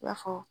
I b'a fɔ